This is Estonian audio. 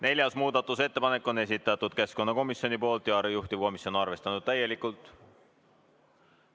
Neljas muudatusettepanek on esitatud keskkonnakomisjoni poolt ja juhtivkomisjon on arvestanud täielikult.